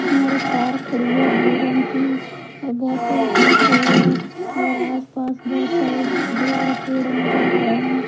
और एक कार खड़ी है ब्लू रंग की और बहुत तेज धूप हुई है और आसपास बहुत सारे बड़े-बड़े पेड़ नजर आ रहे हैं।